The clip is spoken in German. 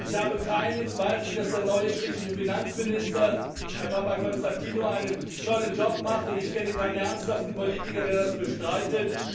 Ich habe keinen Zweifel, dass der neue griechische Finanzminister, Herr Papakonstantinou, einen tollen Job macht, und ich kenne keinen ernsthaften Politiker, der das bestreitet.